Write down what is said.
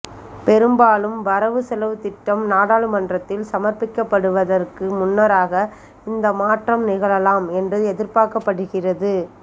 பெரும்பாலும் வரவு செலவுத்திட்டம் நாடாளுமன்றத்தில் சமர்ப்பிக்கப்படுவதற்கு முன்னராக இந்த மாற்றம் நிகழலாம் என்று எதிர்பார்க்கப்படுகின்றது